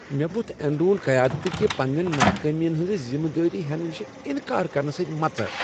مےٚ ووتھ اینرون قیادت كہِ پننین ناکامین ہنٛز ذمہٕ وٲری ہینہٕ نش انکار کرنہٕ سۭتۍ مژر۔